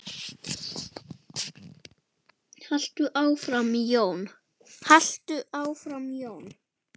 Haltu áfram Jón!